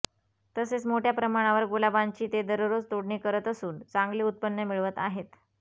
तसेच मोठय़ा प्रमाणावर गुलाबांची ते दररोज तोडणी करत असून चांगले उत्पन्न मिळवत आहेत